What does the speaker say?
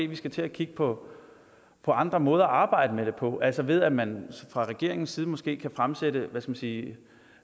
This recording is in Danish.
vi skulle til at kigge på på andre måder at arbejde med det på altså ved at man fra regeringens side måske kunne fremsætte hvad skal man sige